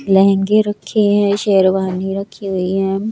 लहंगे रखे हैं शेरवानी रखी हुई हैं।